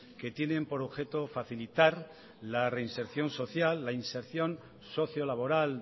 que tienen por objeto facilitar la reinserción social la inserción socio laboral